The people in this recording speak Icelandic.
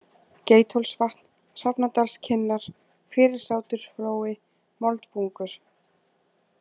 Geithólsvatn, Hrafnadalskinnar, Fyrirsátursflói, Moldbungur